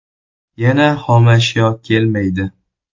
Yana xomashyo kelmaydi.